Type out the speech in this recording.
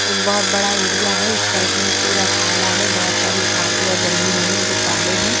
एक बहुत बड़ा एरिया हैं इस साइड में पूरा काला हैं बहुत सारी झटिया जमी हुई है जो काले है।